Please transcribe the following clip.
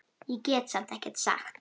Ég get samt ekkert sagt.